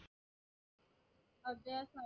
अभ्यास आहे